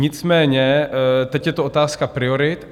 Nicméně teď je to otázka priorit.